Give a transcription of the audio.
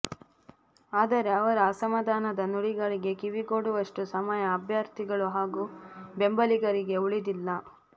ಆದರೆ ಅವರ ಅಸಮಾಧಾನದ ನುಡಿಗಳಿಗೆ ಕಿವಿಗೊಡುವಷ್ಟು ಸಮಯ ಅಭ್ಯರ್ಥಿಗಳು ಹಾಗೂ ಬೆಂಬಲಿಗರಿಗೆ ಉಳಿದಿಲ್ಲ